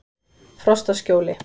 Frostaskjóli